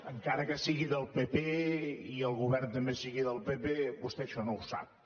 encara que sigui del pp i el govern també sigui del pp vostè això no ho sap